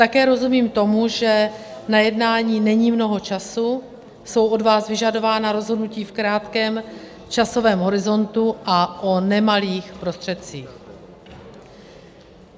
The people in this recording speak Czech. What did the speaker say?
Také rozumím tomu, že na jednání není mnoho času, jsou od vás vyžadována rozhodnutí v krátkém časovém horizontu a o nemalých prostředcích.